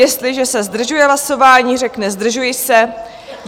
Jestliže se zdržuje hlasování, řekne "zdržuji se".